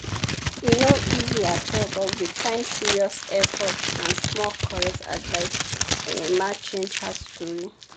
e no easy at all but with time serious effort and small correct advice emma change her story.